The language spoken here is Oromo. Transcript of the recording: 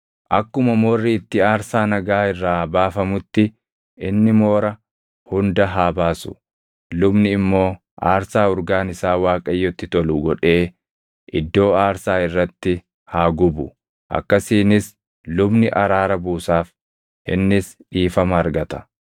Akkuma moorri itti aarsaa nagaa irraa baafamutti inni moora hunda haa baasu; lubni immoo aarsaa urgaan isaa Waaqayyotti tolu godhee iddoo aarsaa irratti haa gubu. Akkasiinis lubni araara buusaaf; innis dhiifama argata.